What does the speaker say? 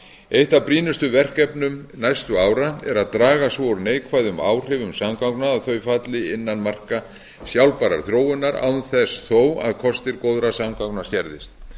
eitt af brýnustu verkefnum næstu ára er að draga svo úr neikvæðum áhrifum samgangna að þau falli innan marka sjálfbærrar þróunar án þess þó að kostir góðra samgangna skerðist